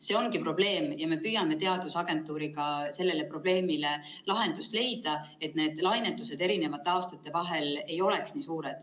See ongi probleem ja me püüame teadusagentuuriga sellele probleemile lahendust leida, et see lainetus eri aastate vahel ei oleks nii suur.